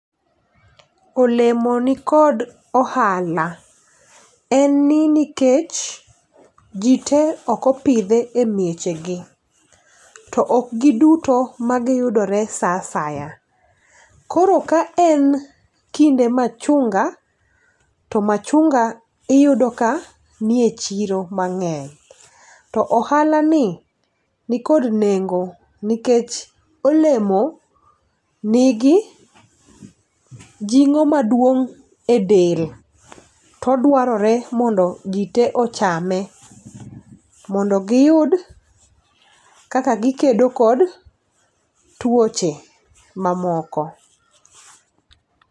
Olemo nikod ohala en ni nikech jii te ok opidhe e mieche gi to ok giduto magiyudore saa asaya. Koro ka en kinde machunga, to machunga iyudo ka nie chiro mang'eny to ohala ni nikod nengo nikech olemo nigi jing'o maduong' e del todwarore mondo jii te ochame mondo giyud kaka gikedo kod tuoche ma moko.